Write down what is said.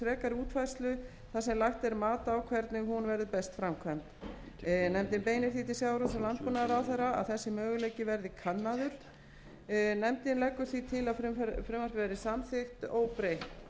er mat á hvernig hún verður best framkvæmd nefndin beinir því til sjávarútvegs og landbúnaðarráðherra að þessi möguleiki verði kannaður nefndin leggur því til að frumvarpið verði samþykkt óbreytt valgerður sverrisdóttir skrifar undir álitið með fyrirvara